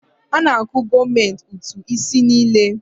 A na-akwụ gọọmenti ụtụ isi niile.